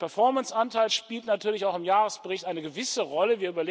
Der Performance Anteil spielt natürlich auch im Jahresbericht eine gewisse Rolle.